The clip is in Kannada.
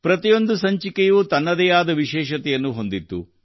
ಪ್ರತಿಯೊಂದು ಸಂಚಿಕೆಯೂ ತನ್ನದೇ ಆದ ವಿಶೇಷತೆಯನ್ನು ಹೊಂದಿತ್ತು